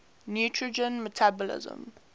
nitrogen metabolism